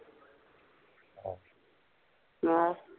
ਆਹ